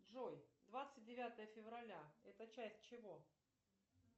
джой двадцать девятое февраля это часть чего